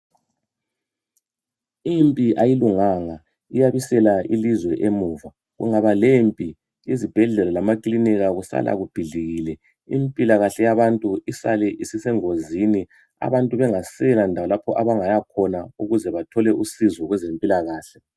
impi ayilunganga iyabisela ilizwe emuva kungaba lempi izibhedlela lamakilinika kusala kubhidlikile impilakahle yabantu isale isisengozini abantu begasela ndawo lapho abangaya khona ukuze bathole usizo kwezempilakahle